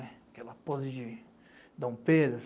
Aquela pose de Dom Pedro.